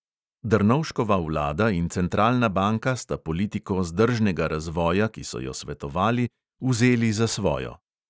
Drnovškova vlada in centralna banka sta politiko zdržnega razvoja, ki so jo svetovali, vzeli za svojo.